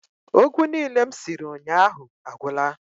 Ogwu niile m siri unyahu agwula